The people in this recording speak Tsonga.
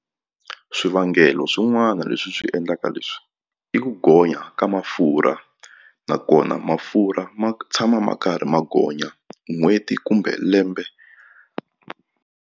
Swivangelo swin'wana leswi swi endlaka leswi i ku gonya ka mafurha nakona mafurha ma tshama ma karhi ma gonya n'hweti kumbe lembe.